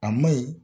A ma ɲi